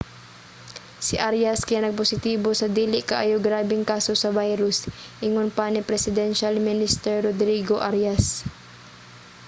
si arias kay nagpositibo sa dili kaayo grabeng kaso sa virus ingon pa ni presidential minister rodrigo arias